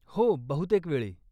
हो, बहुतेक वेळी.